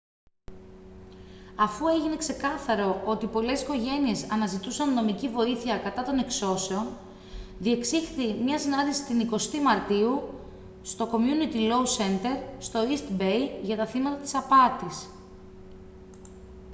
αφού έγινε ξεκάθαρο ότι πολλές οικογένειες αναζητούσαν νομική βοήθεια κατά των εξώσεων διεξήχθη μια συνάντηση την 20η μαρτίου στο community law center στο east bay για τα θύματα της απάτης